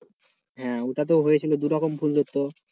হ্যাঁ ওটাতেও হয়েছিল দু'রকম ফুল ধরত।